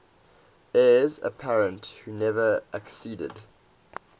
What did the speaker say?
heirs apparent who never acceded